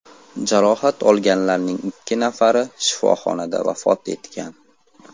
Jarohat olganlarning ikki nafari shifoxonada vafot etgan.